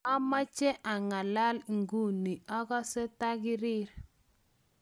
mameche ang'alal nguni, akase takirir